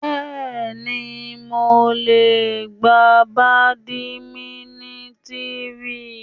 Bẹ́ẹ̀ni, mo le gbá bàdímínítìnì.